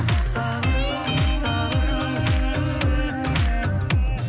сабырлы сабырлы